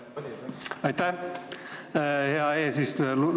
Aitäh, hea eesistuja!